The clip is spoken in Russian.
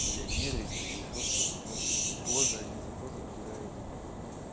миллионеры эти или ещё кто-то ну ээ тоже они же тоже выбирают там